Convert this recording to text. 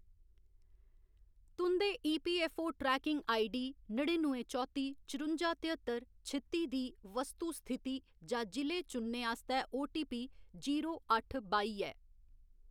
तुं'दे EPFO tracking ID नडीनुऐ चौत्ती चरुंजा तेहत्तर छित्ती दी वस्तु स्थिति जां जि'ले चुनने आस्तै आटोपी जीरो अट्ठ बाई ऐ